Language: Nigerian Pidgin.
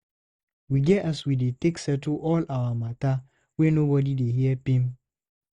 We get as we dey take settle all our mata wey nobodi dey her pim.